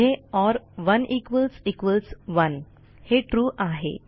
पुढे or 1 equals equals 1 हे trueआहे